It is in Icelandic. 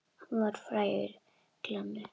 Hann var frægur glanni.